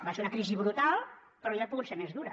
va ser una crisi brutal però hauria pogut ser més dura